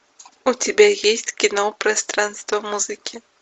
у тебя есть кино пространство музыки